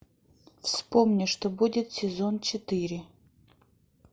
вспомни что будет сезон четыре